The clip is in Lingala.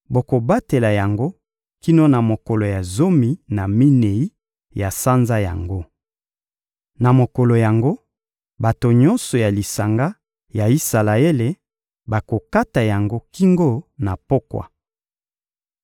Bokobatela yango kino na mokolo ya zomi na minei ya sanza yango. Na mokolo yango, bato nyonso ya lisanga ya Isalaele bakokata yango kingo na pokwa.